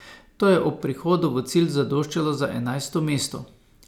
To je ob prihodu v cilj zadoščalo za enajsto mesto.